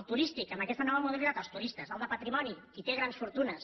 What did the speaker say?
el turístic en aquesta nova modalitat els turistes el de patrimoni qui té grans fortunes